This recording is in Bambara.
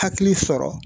Hakili sɔrɔ